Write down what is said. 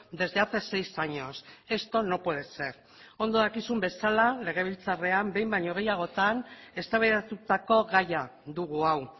desde hace seis años esto no puede ser ondo dakizun bezala legebiltzarrean behin baino gehiagotan eztabaidatutako gaia dugu hau